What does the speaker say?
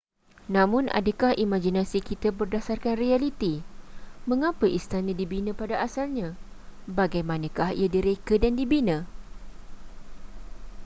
namun adakah imaginasi kita berdasarkan realiti mengapa istana dibina pada asalnya bagaimanakah ia direka dan dibina